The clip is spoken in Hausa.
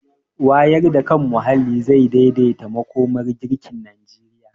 Wayar da kan muhalli zai daidaita makomar girkin Najeriya.